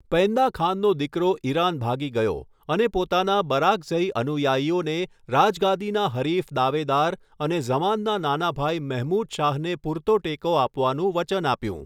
પૈંદા ખાનનો દીકરો ઈરાન ભાગી ગયો અને પોતાના બરાકઝઈ અનુયાયીઓને રાજગાદીના હરીફ દાવેદાર અને ઝમાનના નાના ભાઈ મહમૂદ શાહને પૂરતો ટેકો આપવાનું વચન આપ્યું.